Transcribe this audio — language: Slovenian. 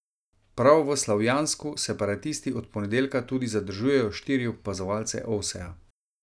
Prav v Slavjansku separatisti od ponedeljka tudi zadržujejo štiri opazovalce Ovseja.